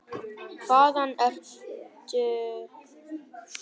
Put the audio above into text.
Hvaðan ertu?